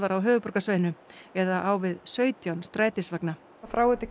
á höfuðborgarsvæðinu eða á við sautján strætisvagna